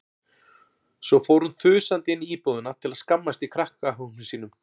Svo fór hún þusandi inn í íbúðina til að skammast í krakkahópnum sínum.